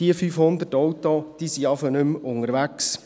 Diese 500 Autos sind dann schon mal nicht mehr unterwegs.